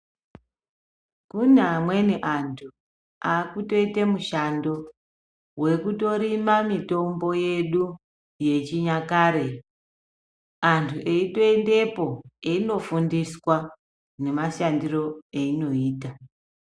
Kune amweni anthu aakutoite mushando wekutorima mithombo yedu yechinyakare anthu eitoendepo einofundiswa nemashandiro eyinoita.